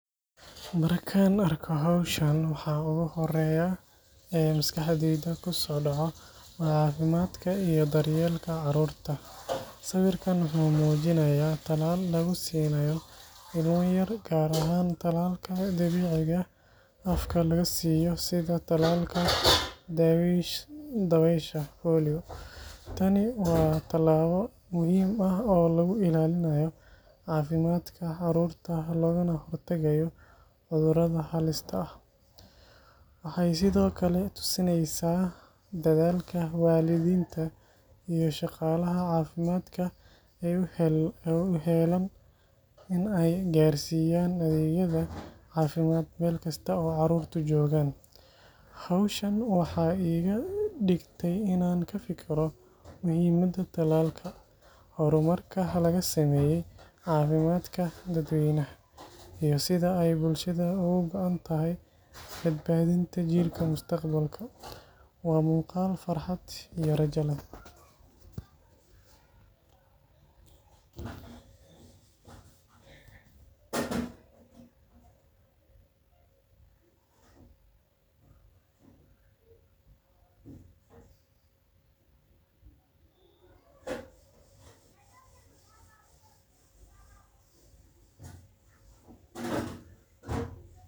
Markaan arko hawshan, waxa ugu horreeya ee maskaxdayda ku soo dhaca waa caafimaadka iyo daryeelka carruurta. Sawirkan wuxuu muujinayaa talaal lagu siinayo ilmo yar, gaar ahaan talaalka dhibicda afka laga siiyo sida talaalka dabaysha (polio). Tani waa tallaabo muhiim ah oo lagu ilaalinayo caafimaadka carruurta loogana hortagayo cudurrada halista ah. Waxay sidoo kale tusinaysaa dadaalka waalidiinta iyo shaqaalaha caafimaadka ee u heellan in ay gaarsiiyaan adeegyada caafimaad meel kasta oo carruurtu joogaan. Hawshan waxay iga dhigtay inaan ka fikiro muhiimadda talaalka, horumarka laga sameeyay caafimaadka dadweynaha, iyo sida ay bulshada uga go'an tahay badbaadinta jiilka mustaqbalka. Waa muuqaal farxad iyo rajo leh.